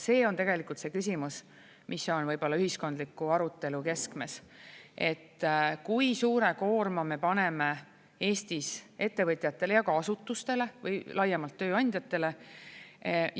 See on tegelikult see küsimus, mis on võib-olla ühiskondliku arutelu keskmes: kui suure koorma me paneme Eestis ettevõtjatele ja ka asutustele või laiemalt tööandjatele?